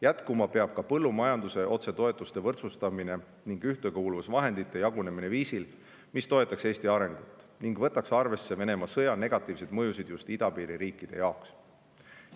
Jätkuma peab ka põllumajanduse otsetoetuste võrdsustamine ning ühtekuuluvusvahendite jagunemine viisil, mis toetaks Eesti arengut ning võtaks arvesse Venemaa sõja negatiivseid mõjusid just idapiiri riikide jaoks.